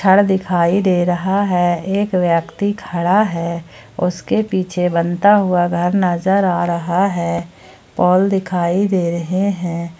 दिखाई दे रहा है एक व्यक्ति खड़ा है उसके पीछे बनता हुआ घर नजर आ रहा है पोल दिखाई दे रहे हैं।